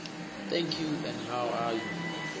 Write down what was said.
thank you and how are